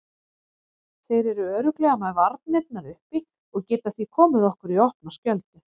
Þeir eru örugglega með varnirnar uppi og geta því komið okkur í opna skjöldu.